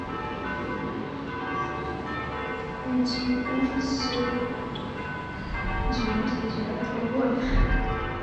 найти ужасы девяносто девятого года